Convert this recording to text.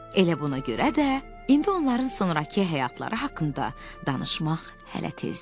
Elə buna görə də indi onların sonrakı həyatları haqqında danışmaq hələ tezdir.